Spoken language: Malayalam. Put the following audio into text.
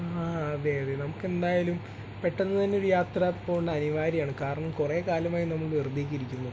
ആ അതെ അതെ നമുക്ക് എന്തായാലും പെട്ടെന്ന് തന്നെ ഒരു യാത്ര പോണ്ടത് അനിവാര്യമാണ്. കാരണം കുറെ കാലമായി നമ്മൾ വെറുതെ ഇരിക്കുന്നു